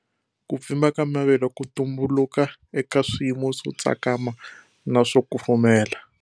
Ku pfimba ka mavele ku tumbuluka eka swiyimo swotsakama na swo kufumela.